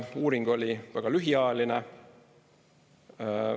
Uuring oli väga lühiajaline.